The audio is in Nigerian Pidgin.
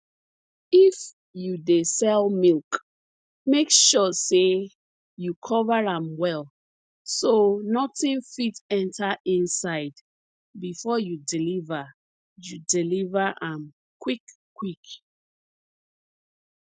if you dey sell milk make sure sey you cover am well so nothing fit enter inside before you deliver you deliver am quick quick